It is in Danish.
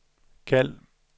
kald